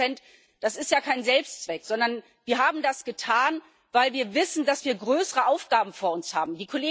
11 Das ist ja kein Selbstzweck, sondern wir haben das getan, weil wir wissen, dass wir größere Aufgaben vor uns haben.